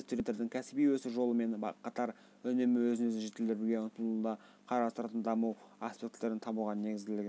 әлеуметтілік кемелденуде студенттердің кәсіби өсу жолымен қатар үнемі өзін-өзі жетілдіруге ұмтылуды қарастыратын даму аспектілерін табуға негізделген